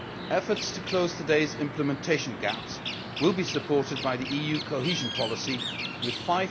Efforts to close today's implementation gaps will be supported by the EU Cohesion Policy, with EUR